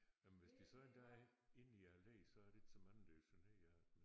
Jamen hvis de så en dag inde i læet så er der ikke så mange der er generet af dem men